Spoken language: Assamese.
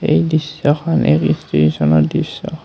এই দৃশ্যখন দৃশ্য।